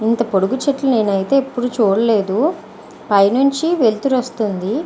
ఇంత పొడువు చెట్లు నేనైతే ఎప్పుడు చూడలేదు పైన నుంచి వెలుతురు వస్తుంది.